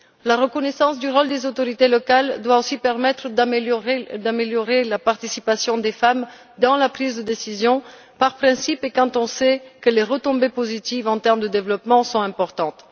La reconnaissance du rôle des autorités locales doit aussi permettre d'améliorer la participation des femmes dans la prise de décision, par principe et parce que l'on sait que les retombées positives en termes de développement sont importantes.